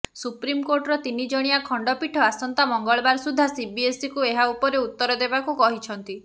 ସୁପ୍ରୀମକୋର୍ଟର ତିନିଜଣିଆ ଖଣ୍ଡପୀଠ ଆସନ୍ତା ମଙ୍ଗଳବାର ସୁଦ୍ଧା ସିବିଏସ୍ଇକୁ ଏହା ଉପରେ ଉତ୍ତର ଦେବାକୁ କହିଛନ୍ତି